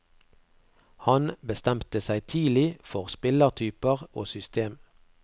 Han bestemte seg tidlig for spillertyper og system.